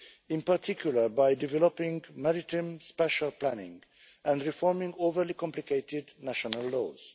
in particular by developing maritime spacial planning and reforming overly complicated national laws.